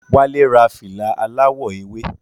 Wala Ra fìlà aláwọ̀ ewé